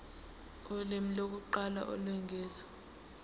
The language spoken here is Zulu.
ulimi lokuqala olwengeziwe